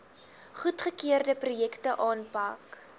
goedgekeurde projekte aanpak